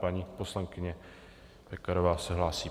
Paní poslankyně Pekarová se hlásí.